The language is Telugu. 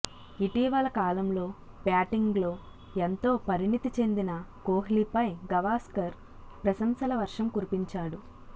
ఇటీవల కాలంలో బ్యాటింగ్లో ఎంతో పరిణితి చెందిన కోహ్లీపై గవాస్కర్ ప్రశంసల వర్షం కురిపించాడు